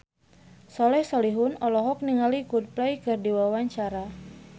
Soleh Solihun olohok ningali Coldplay keur diwawancara